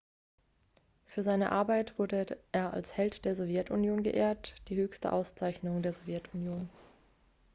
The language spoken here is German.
für seine arbeit wurde er als held der sowjetunion geehrt die höchste auszeichnung der sowjetunion